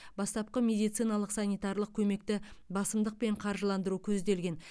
бастапқы медициналық санитарлық көмекті басымдықпен қаржыландыру көзделген